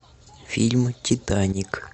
фильмы титаник